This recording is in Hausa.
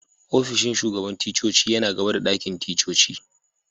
Ofishin shugaban ticcoci yana gaba da dakin ticcoci.